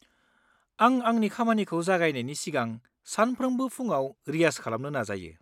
-आं आंनि खामानिखौ जागायनायनि सिगां सानफ्रोमबो फुंआव रियाज खालामनो नाजायो।